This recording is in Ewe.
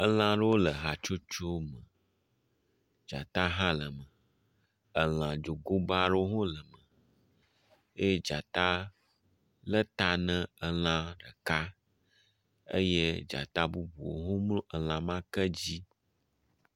Elã aɖewo le hatsotso ɖeka me. Dzata hã le eme. Elã dzogoba aɖewo hã le eme eye dzata le ta na elã ɖeka eye dzata bubuwo hã mlɔ elã ma ke dzi.